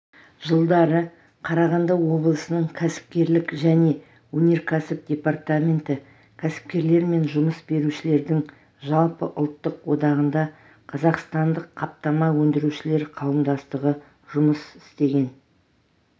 жылдары қарағанды облысының кәсіпкерлік және өнеркәсіп департаменті кәсіпкерлер мен жұмыс берушілердің жалпыұлттық одағында қазақстандық қаптама өндірушілер қауымдастығы жұмыс істеген